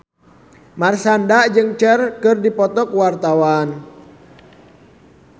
Marshanda jeung Cher keur dipoto ku wartawan